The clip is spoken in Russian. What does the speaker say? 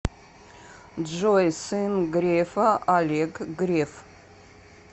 джой сын грефа олег греф